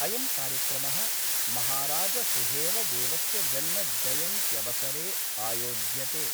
अयं कार्यक्रमः महाराजसुहेलदेवस्य जन्म जयन्त्यवसरे आयोज्यते।